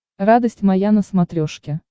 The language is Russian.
радость моя на смотрешке